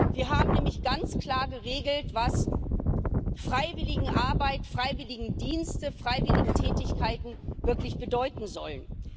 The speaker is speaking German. Wir haben nämlich ganz klar geregelt, was Freiwilligenarbeit, Freiwilligendienste, Freiwilligentätigkeiten wirklich bedeuten sollen.